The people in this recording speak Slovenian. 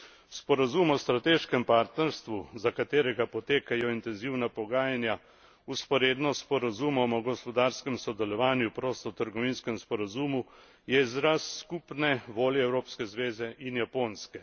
Sporazum o strateškem partnerstvu, za katerega potekajo intenzivna pogajanja vzporedno s sporazumom o gospodarskem sodelovanju, prostotrgovinskem sporazumu, je izraz skupne volje Evropske zveze in Japonske.